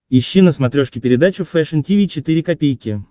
ищи на смотрешке передачу фэшн ти ви четыре ка